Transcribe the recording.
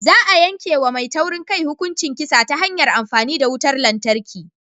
Za a yanke wa mai taurin kai hukuncin kisa ta hanyar amfani da wutar lantarki.